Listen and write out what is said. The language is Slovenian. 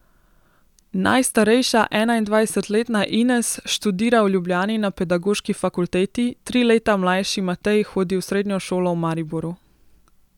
Najstarejša, enaindvajsetletna Ines študira v Ljubljani na pedagoški fakulteti, tri leta mlajši Matej hodi v srednjo šolo v Mariboru.